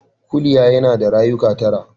Kuliya yana da rayuka tara.